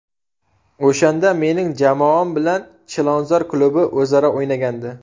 O‘shanda mening jamoam bilan ‘Chilonzor’ klubi o‘zaro o‘ynagandi.